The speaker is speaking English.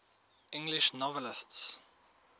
english novelists